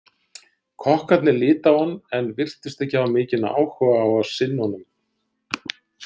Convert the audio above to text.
Kokkarnir litu á hann en virtust ekki hafa mikinn áhug á að sinna honum.